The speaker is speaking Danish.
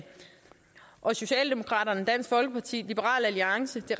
og socialdemokraterne dansk folkeparti liberal alliance